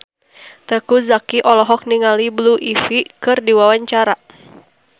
Teuku Zacky olohok ningali Blue Ivy keur diwawancara